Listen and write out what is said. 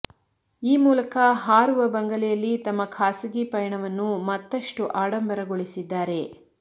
ಈ ಮೂಲಕ ಹಾರುವ ಬಂಗಲೆಯಲ್ಲಿ ತಮ್ಮ ಖಾಸಗಿ ಪಯಣವನ್ನು ಮತ್ತಷ್ಟು ಆಡಂಬರಗೊಳಿಸಿದ್ದಾರೆ